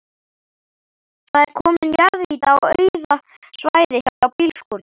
Það er komin jarðýta á auða svæðið hjá bílskúrunum.